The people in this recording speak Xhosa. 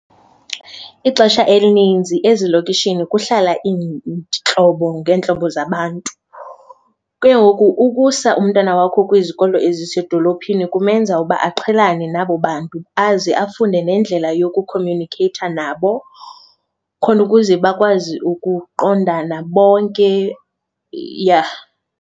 Ixesha elininzi ezilokishini kuhlala iintlobo ngeentlobo zabantu. Ke ngoku ukusa umntana wakho kwizikolo ezisezidolophini kumenza uba aqhelane nabo bantu aze afunde nendlela yokukhomyunikheyitha nabo khona ukuze bakwazi ukuqondana bonke, yeah.